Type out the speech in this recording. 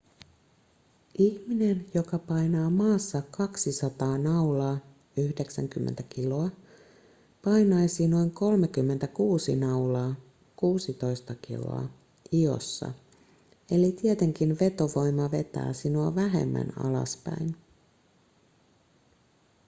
ihminen joka painaa maassa 200 naulaa 90 kg painaisi noin 36 naulaa 16 kg iossa. eli tietenkin vetovoima vetää sinua vähemmän alaspäin